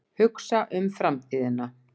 Hugsa um framtíðina.